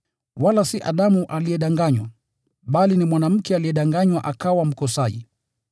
Wala si Adamu aliyedanganywa, bali ni mwanamke aliyedanganywa akawa mkosaji.